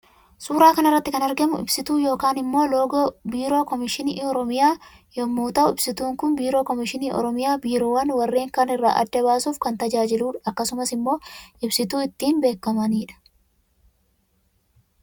Suuraa kanarratti kan argamu ibsituu yookaan immoo loogoo biiroo komishinii oromiyaa yommuu ta'u ibsitun Kun biiroo komishinii oromiyaa biirowwaan warren kaan irra adda baasuuf kan tajaajiludha akkasumas ibsituu ittiin beekamanidha